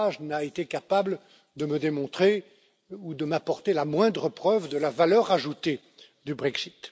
M. Farage, n'a été capable de me démontrer ou de m'apporter la moindre preuve de la valeur ajoutée du Brexit.